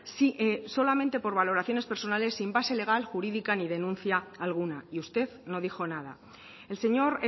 sí solamente por valoraciones personales sin base legal jurídica ni denuncia alguna y usted no dijo nada el señor